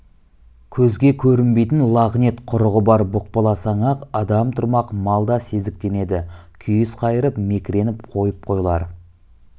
көзге көрінбейтін лағнет құрығы бар бұқпаласаң-ақ адам тұрмақ мал да сезіктенеді күйіс қайырып мекіреніп қойып қойлар